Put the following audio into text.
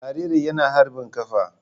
Jaririn yana harbin kafa.